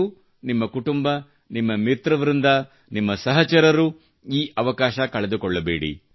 ನೀವು ನಿಮ್ಮ ಕುಟುಂಬ ನಿಮ್ಮ ಮಿತ್ರ ವೃಂದ ನಿಮ್ಮ ಸಹಚರರು ಈ ಅವಕಾಶ ಕಳೆದುಕೊಳ್ಳ ಬೇಡಿ